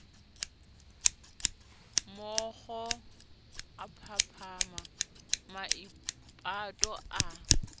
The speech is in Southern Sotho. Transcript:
mookgo a phaphama maipato a